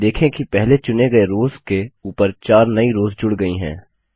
देखें कि पहले चुनें गए रोव्स के ऊपर 4 नई रोव्स जुड़ गई हैं